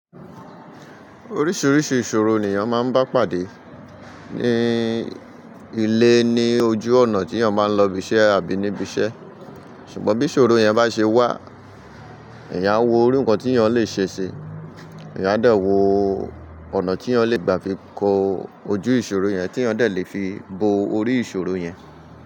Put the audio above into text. Oríṣiríṣi ìṣòro ni èèyàn máa ń bá pàdé ní ilé ní ojú ọ̀nà tí èèyàn máa ń lọ ibi iṣẹ́ àbí níbi iṣẹ́. Ṣùgbọ́n bí ìṣòro yẹn bá ṣe wà, èèyàn á wo irú nǹkan tí èèyàn lè ṣe si, èèyàn á dẹ wò ọ̀nà tí èèyàn lè gbà fi kó ojú ìṣòro yẹn tí èèyàn dẹ lè fi bo orí ìṣòro yẹn.